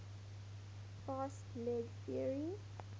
fast leg theory